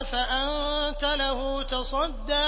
فَأَنتَ لَهُ تَصَدَّىٰ